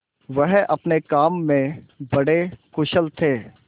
वह अपने काम में बड़े कुशल थे